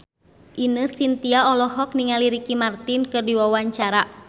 Ine Shintya olohok ningali Ricky Martin keur diwawancara